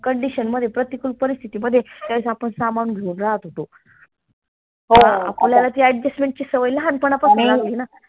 condition मध्ये प्रतिकूल परिस्थितीमध्ये त्यावेळेस आपन सांभाळून राहात होतो आपल्याला ती adjustment ची सवय लहानपणा पासून